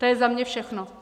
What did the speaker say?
To je za mě všechno.